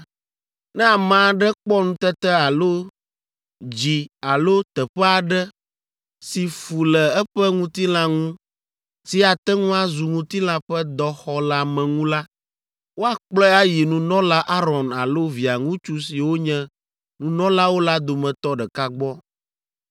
“Ne ame aɖe kpɔ nutete alo dzi alo teƒe aɖe si fu le eƒe ŋutilã ŋu si ate ŋu azu ŋutilã ƒe dɔxɔleameŋu la, woakplɔe ayi nunɔla Aron alo Via ŋutsu siwo nye nunɔlawo la dometɔ ɖeka gbɔ.